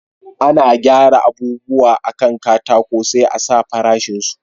Ana gyara abubuwa a kan katako sai a sa farashin su